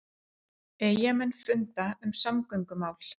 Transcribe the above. Eyjamenn funda um samgöngumál